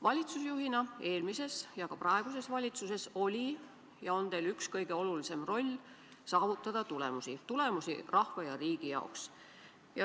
Valitsusjuhina eelmises ja ka praeguses valitsuses oli ja on teil üks kõige olulisem eesmärk: saavutada tulemusi – tulemusi rahva ja riigi jaoks.